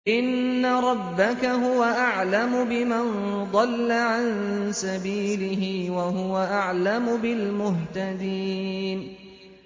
إِنَّ رَبَّكَ هُوَ أَعْلَمُ بِمَن ضَلَّ عَن سَبِيلِهِ وَهُوَ أَعْلَمُ بِالْمُهْتَدِينَ